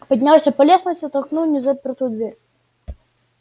поднялся по лестнице толкнул незапертую дверь